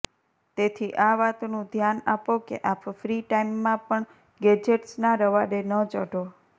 તેથી આ વાતનું ધ્યાન આપો કે આપ ફ્રી ટાઇમમાં પણ ગૅજેટ્સનાં રવાડે ન ચઢો